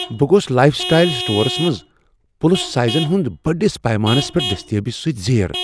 بہٕ گوس life style stores منٛز پلس سایزن ہُنٛد بٔڑس پیمانس پیٹھ دستیابی سۭتۍ زیر ۔